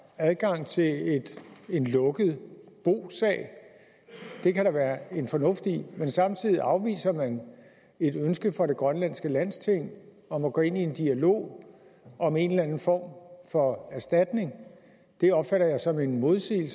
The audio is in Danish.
adgang til en lukket bosag det kan der være en fornuft i men samtidig afviser man et ønske fra det grønlandske landsting om at gå ind i en dialog om en eller anden form for erstatning det opfatter jeg som en modsætning